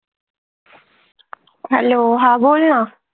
Hello हा बोल न